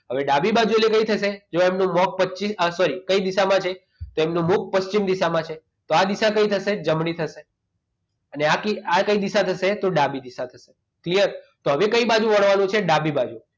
હવે ડાબી બાજુ એટલે કઈ થશે તેનું મુખ કઈ દિશામાં sorry કઈ દિશામાં છે તેમનું મુખ પછી ની સામે છે પશ્ચિમ દિશામાં છે તો આ દિશા કઈ થશે જમણી થશે એટલે આ કઈ દિશા થશે તો ડાબી દિશા થશે clear તો હવે કઈ બાજુ વળવાનું છે ડાબી બાજુ